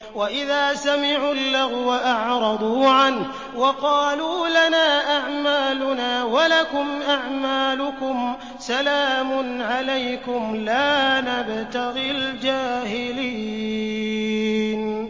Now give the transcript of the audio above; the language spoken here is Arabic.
وَإِذَا سَمِعُوا اللَّغْوَ أَعْرَضُوا عَنْهُ وَقَالُوا لَنَا أَعْمَالُنَا وَلَكُمْ أَعْمَالُكُمْ سَلَامٌ عَلَيْكُمْ لَا نَبْتَغِي الْجَاهِلِينَ